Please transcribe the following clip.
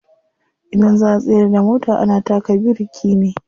Idan za'a tsayar da mota ana taka biriki ne.